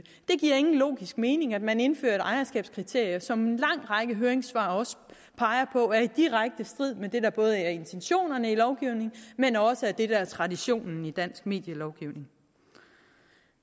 det giver ingen logisk mening at man indfører et ejerskabskriterie som en lang række af høringssvarene også peger på er i direkte strid med det der både er intentionerne i lovgivningen men også er det der er traditionen i dansk medielovgivning